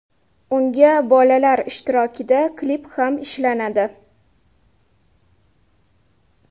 Unga bolalar ishtirokida klip ham ishlanadi.